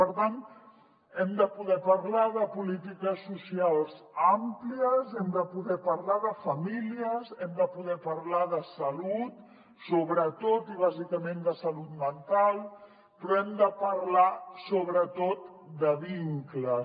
per tant hem de poder parlar de polítiques socials àmplies hem de poder parlar de famílies hem de poder parlar de salut sobretot i bàsicament de salut mental però hem de parlar sobretot de vincles